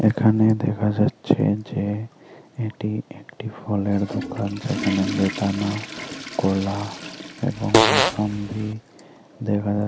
এখানে দেখা যাচ্ছে যে এটি একটি ফলের দোকান যেখানে বেদানা কলা এবং মুসাম্বি দেখা যা--